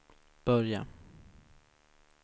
börja